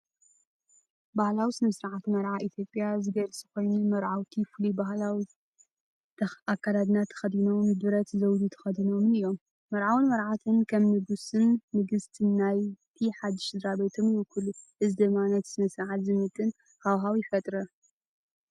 ባህላዊ ስነ-ስርዓት መርዓ ኢትዮጵያ ዝገልጽ ኮይኑ፡ መርዓውቲ ፍሉይ ባህላዊ ኣከዳድና ተኸዲኖምን ብረት ዘውዲ ተኸዲኖምን እዮም። መርዓውን መርዓውን ከም "ንጉስ"ን "ንግስቲ"ን ናይቲ ሓድሽ ስድራቤቶም ይውከሉ። እዚ ድማ ነቲ ስነ-ስርዓት ዝምጥን ሃዋህው ይፈጥር።